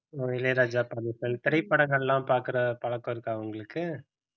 அஹ் இளையராஜா படங்கள் திரைப்படங்கள்லாம் பாக்குற பழக்கம் இருக்கா உங்களுக்கு